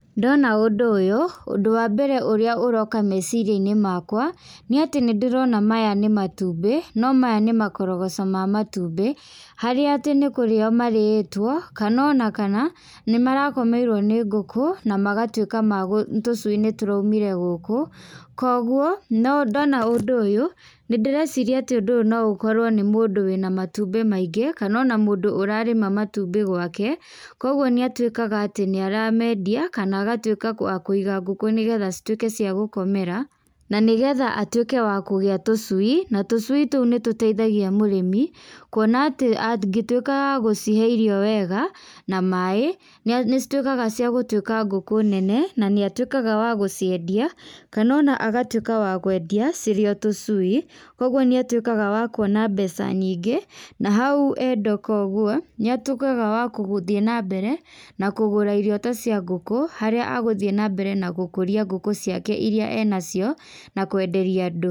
Ndona ũndũ ũyũ, ũndũ wa mbere ũrĩa ũroka meciria-inĩ makwa, nĩatĩ nĩndĩrona maya nĩ matumbĩ, no maya nĩ makorogoco ma matumbĩ, harĩa atĩ nĩkũrĩo marĩĩtwo, kanona kana, nĩmarakoeirwo nĩ ngũkũ, na magatwĩka ma, tũcui nĩtũraumire gũkũ, koguo, no, ndona ũndũ ũyũ, nĩndĩreciria atĩ ũndũ ũyũ noũkorwo nĩ mũndũ wĩna matumbĩ maingĩ, kanona mũndũ ũrarĩma matumbĩ gwake, koguo nĩatwĩkaga atĩ nĩaramendia, kana agatwĩka wa kũiga ngũkũ nĩgetha citwĩke cia gũkomera, nanĩgetha atwĩke wa kũgĩa tũcui, na tũcui tũ nĩtũteithagia mũrĩmi, kuona atĩ angĩtwĩka wa gũcihe irio wega, na maĩ, na nĩcitwĩkaga ciagũtwĩka ngũkũ nene, na nĩ atwĩkaga wa gũciendia, kanona agatwĩka wa gũciendia cirĩo tũcui, koguo níatwĩkaga wa kuona mbeca nyingĩ, nahau enda koguo nĩatwĩkaga wakũ gũthiĩ nambere na kũgũra irio ta cia ngũkũ harĩa agũthiĩ nambere na gũkũria ngũkũ ciake iria enacio, nakwenderia andũ.